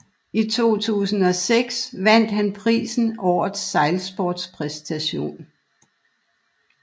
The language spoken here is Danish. I 2006 vandt han prisen Årets Sejlsportspræstation